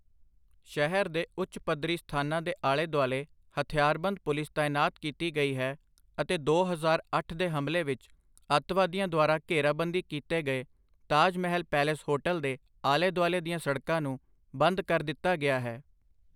ਸ਼ਹਿਰ ਦੇ ਉੱਚ ਪੱਧਰੀ ਸਥਾਨਾਂ ਦੇ ਆਲੇ ਦੁਆਲੇ ਹਥਿਆਰਬੰਦ ਪੁਲਿਸ ਤਾਇਨਾਤ ਕੀਤੀ ਗਈ ਹੈ ਅਤੇ ਦੋ ਹਜ਼ਾਰ ਅੱਠ ਦੇ ਹਮਲੇ ਵਿੱਚ ਅੱਤਵਾਦੀਆਂ ਦੁਆਰਾ ਘੇਰਾਬੰਦੀ ਕੀਤੇ ਗਏ ਤਾਜ ਮਹਿਲ ਪੇਲੇਸ ਹੋਟਲ ਦੇ ਆਲੇ ਦੁਆਲੇ ਦੀਆਂ ਸੜਕਾਂ ਨੂੰ ਬੰਦ ਕਰ ਦਿੱਤਾ ਗਿਆ ਹੈ।